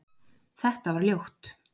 Þetta var ljótt